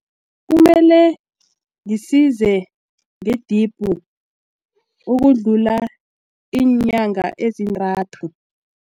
Kumele ngisize ngedibhu ukudlula iinyanga ezintathu.